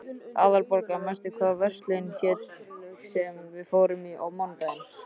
Aðalborgar, manstu hvað verslunin hét sem við fórum í á mánudaginn?